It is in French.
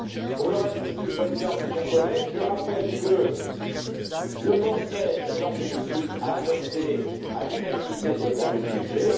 Pour le reste, Monsieur le Président, mes chers collègues, je rappelle que le Conseil je l'en félicite a adopté à l'unanimité ce projet de budget.